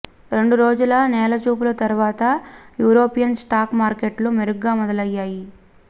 రెండు రోజుల నేలచూపుల తరువాత యూరోపియన్ స్టాక్ మార్కెట్లు మెరుగ్గా మొదలయ్యాయి